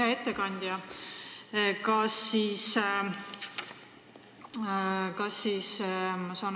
Hea ettekandja!